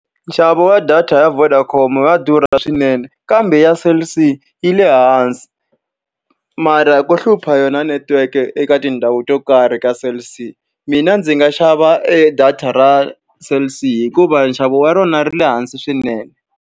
Nxavo wa data ya Vodacom wa durha swinene kambe, ya Cell C yi le hansi. Mara ko hlupha yona network-e eka tindhawu to karhi ka Cell C. Mina ndzi nga xava e data ra Cell C hikuva nxavo wa rona ri le hansi swinene.